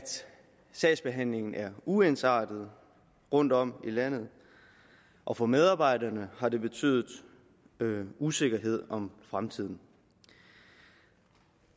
sagsbehandlingen er uensartet rundtom i landet og for medarbejderne har det betydet usikkerhed om fremtiden